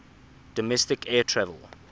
domestic air travel